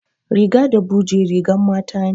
Riga da buje rigan mata ne